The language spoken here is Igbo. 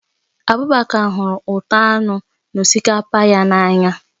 Abubakar hụrụ ụtọ anụ na osikapa ya n'anya